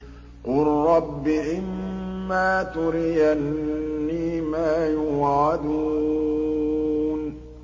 قُل رَّبِّ إِمَّا تُرِيَنِّي مَا يُوعَدُونَ